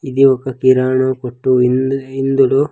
ఇది ఒక కిరాణ కొట్టు ఇంద్-- ఇందులో.